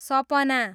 सपना